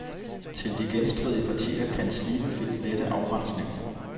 Til de genstridige partier kan slibefilt lette afrensningen.